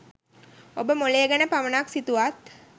ඔබ මොළය ගැන පමණක් සිතුවත්